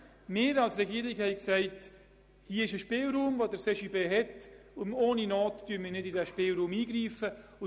Die Regierung ist der Meinung, hier habe der CJB einen Spielraum, und ohne Not wolle man nicht in diesen Spielraum eingreifen.